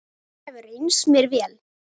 Það hefur reynst mér vel.